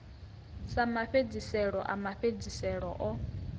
sa mafhedziselo a mafhedziselo o